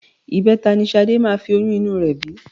Ìbẹta ni Ṣadé máa fi oyún inú rẹ bí